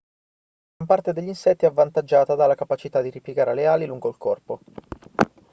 gran parte degli insetti è avvantaggiata dalla capacità di ripiegare le ali lungo il corpo